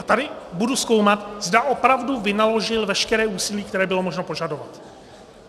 A tady budu zkoumat, zda opravdu vynaložil veškeré úsilí, které bylo možno požadovat.